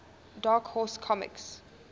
dark horse comics